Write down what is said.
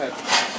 Qoy qoyaq.